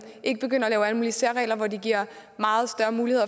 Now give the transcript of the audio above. ikke begynder at lave alle mulige særregler hvor de giver meget større mulighed